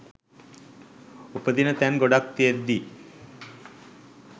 උපදින්න තැන් ගොඩාක් තියෙද්දී.